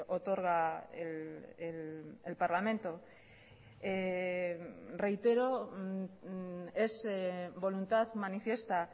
otorga el parlamento reitero es voluntad manifiesta